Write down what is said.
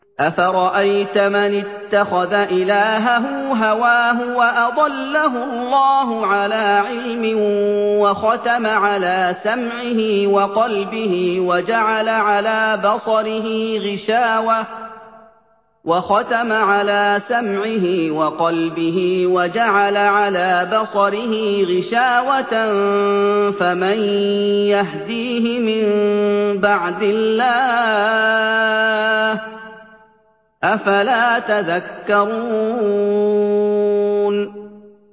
أَفَرَأَيْتَ مَنِ اتَّخَذَ إِلَٰهَهُ هَوَاهُ وَأَضَلَّهُ اللَّهُ عَلَىٰ عِلْمٍ وَخَتَمَ عَلَىٰ سَمْعِهِ وَقَلْبِهِ وَجَعَلَ عَلَىٰ بَصَرِهِ غِشَاوَةً فَمَن يَهْدِيهِ مِن بَعْدِ اللَّهِ ۚ أَفَلَا تَذَكَّرُونَ